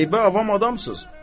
Qəribə avam adamsız.